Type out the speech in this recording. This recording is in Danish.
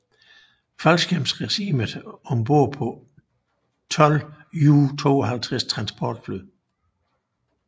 Faldskærmsregiment om bord på 12 Ju 52 transportfly